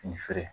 Fini feere